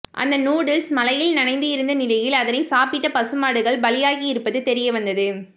அந்த நூடுல்ஸ் மழையில் நனைந்து இருந்த நிலையில் அதனை சாப்பிட்ட பசுமாடுகள் பலியாகி இருப்பது தெரியவந்தது